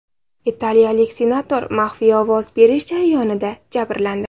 Italiyalik senator maxfiy ovoz berish jarayonida jabrlandi.